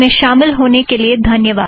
इसमें शामिल होने के लिए धन्यवाद